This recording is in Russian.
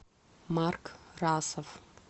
марк расов